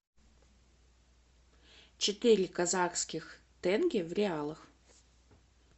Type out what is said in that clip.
четыре казахских тенге в реалах